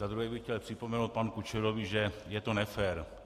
Za druhé bych chtěl připomenout panu Kučerovi, že je to nefér.